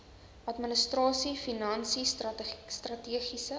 administrasie finansies strategiese